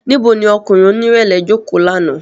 Nibo ni ọkunrin onirẹlẹ joko làná?